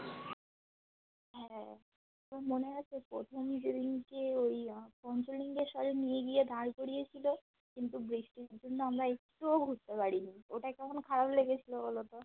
হ্যাঁ খুব মনে হতো প্রথম যেদিনকে ওই দিয়ে সবাই নিয়ে গিয়ে দাঁড় করিয়েছিলো কিন্তু বৃষ্টির জন্য আমরা একটুও ঘুরতে পারিনি ওটা কেমন খারাপ লেগেছিলো বলোতো